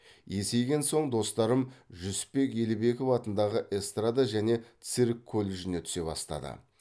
есейген соң достарым жүсіпбек елебеков атындағы эстрада және цирк колледжіне түсе бастады